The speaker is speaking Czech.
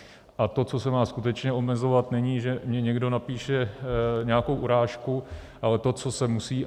A to, co se má skutečně omezovat, není, že mi někdo napíše nějakou urážku, ale to, co se musí.